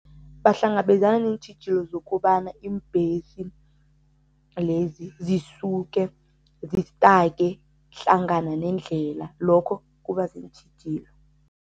Bahlangabezana neentjhijilo zokobana iimbhesi lezi zisuke zistake hlangana nendlela, lokho kuba ziintjhijilo.